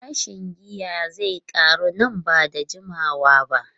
Farashin giya zai karu nan ba da jimawa ba.